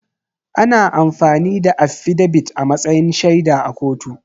Ana amfani da affidabit a matsayin shaida a kotu